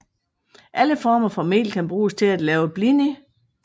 Alle former for mel kan bruges til at lave blini